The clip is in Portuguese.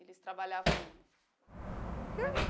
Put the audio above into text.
Eles trabalhavam na